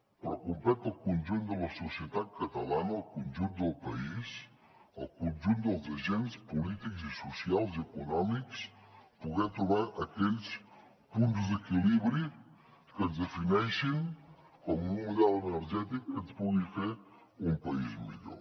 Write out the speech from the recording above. però competeix al conjunt de la societat catalana al conjunt del país al conjunt dels agents polítics i socials i econòmics poder trobar aquells punts d’equilibri que ens defineixin com un model energètic que ens pugui fer un país millor